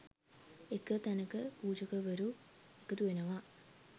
එක තැනකට පූජකවරු එකතු වෙනවා